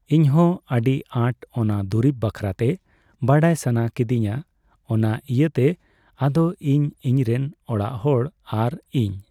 ᱤᱧᱦᱚ ᱟᱹᱰᱤ ᱟᱴ ᱚᱱᱟ ᱫᱩᱨᱤᱵ ᱵᱟᱠᱷᱨᱟᱛᱮ ᱵᱟᱲᱟᱭ ᱥᱟᱱᱟ ᱠᱤᱫᱤᱧᱟ ᱚᱱᱟ ᱤᱭᱟᱹᱛᱮ ᱟᱫᱚ ᱤᱧ ᱤᱧᱨᱮᱱ ᱚᱲᱟᱜ ᱦᱚᱲ ᱟᱨ ᱤᱧ ᱾